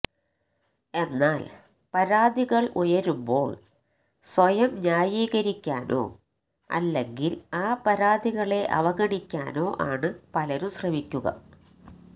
എന്നാല് പരാതികള് ഉയരുമ്പോള് സ്വയം ന്യായീകരിക്കാനോ അല്ലെങ്കിൽ ആ പരാതികളെ അവഗണിക്കാനോ ആണ് പലരും ശ്രമിക്കുക